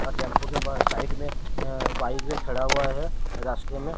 अ tempo के बस side में अ बाइक भी खड़ा हुआ है रास्ते में।